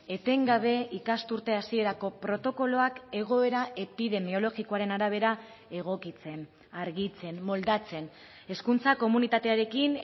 etengabe ikasturte hasierako protokoloak egoera epidemiologikoaren arabera egokitzen argitzen moldatzen hezkuntza komunitatearekin